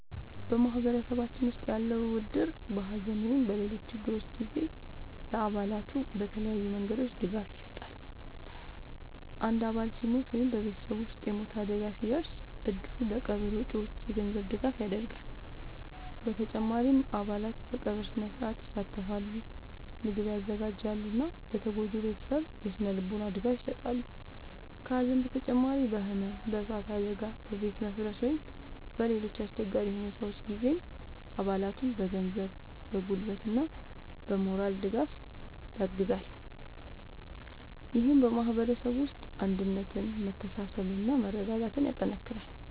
በማህበረሰባችን ውስጥ ያለው እድር በሐዘን ወይም በሌሎች ችግሮች ጊዜ ለአባላቱ በተለያዩ መንገዶች ድጋፍ ይሰጣል። አንድ አባል ሲሞት ወይም በቤተሰቡ ውስጥ የሞት አደጋ ሲደርስ፣ እድሩ ለቀብር ወጪዎች የገንዘብ ድጋፍ ያደርጋል። በተጨማሪም አባላት በቀብር ሥነ-ሥርዓት ይሳተፋሉ፣ ምግብ ያዘጋጃሉ እና ለተጎጂው ቤተሰብ የሥነ-ልቦና ድጋፍ ይሰጣሉ። ከሐዘን በተጨማሪ በሕመም፣ በእሳት አደጋ፣ በቤት መፍረስ ወይም በሌሎች አስቸጋሪ ሁኔታዎች ጊዜም አባላቱን በገንዘብ፣ በጉልበት እና በሞራል ድጋፍ ያግዛል። ይህም በማህበረሰቡ ውስጥ አንድነትን፣ መተሳሰብን እና መረዳዳትን ያጠናክራል።